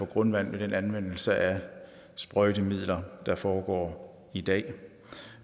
grundvand med den anvendelse af sprøjtemidler der foregår i dag